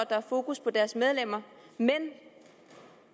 er fokus på deres medlemmer men at